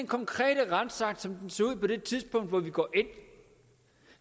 konkrete retsakt som den ser ud på det tidspunkt hvor vi går ind